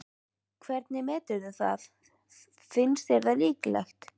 Hvernig meturðu það, finnst þér líklegt?